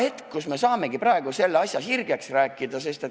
See on hea võimalus see asi sirgeks rääkida.